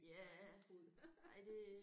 Ja ej det